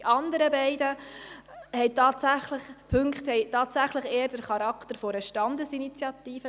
Die anderen beiden Punkte haben tatsächlich eher den Charakter einer Standesinitiative.